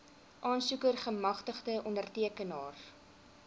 aansoeker gemagtigde ondertekenaar